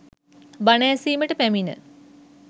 බණ ඇසීමට පැමිණ